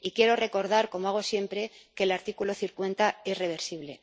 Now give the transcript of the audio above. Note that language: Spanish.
Y quiero recordar, como hago siempre, que el artículo 50 es reversible.